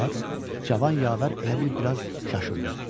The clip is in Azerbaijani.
Cavan yavər elə bil biraz çaşırdı.